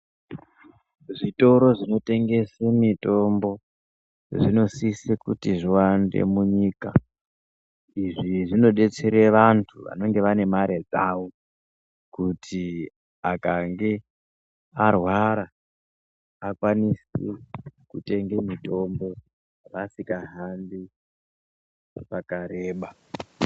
Zvitoro zvinotengese mitombo zvinosise kuti zviwande munyika, izvi zvinodetsere vanthu vanenge vane mare dzavo kuti akange arwara akwanise kutenge mitombo asikahambi pakareba.